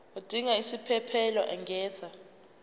odinga isiphesphelo angenza